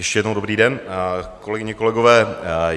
Ještě jednou dobrý den, kolegyně, kolegové.